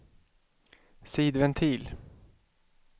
sidventil